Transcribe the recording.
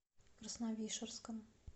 красновишерском